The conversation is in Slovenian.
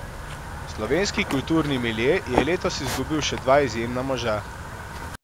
Slovenski kulturni milje je letos izgubil še dva izjemna moža.